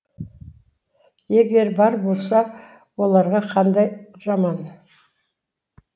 егер бар болса оларға қандай жаман